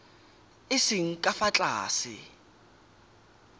a seng ka fa tlase